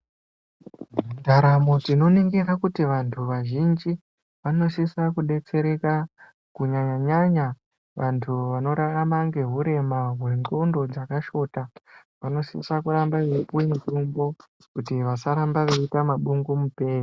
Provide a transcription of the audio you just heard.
Ndaramo tinoningira kuti vantu vazhinji vanoshisa kudetsereka kunyanya nyanya vantu vanorarama ngeurema hwendxondo dzakashota vanosisa kuramba veipuwa mutombo kuti vasaramba veiita mabungu mupee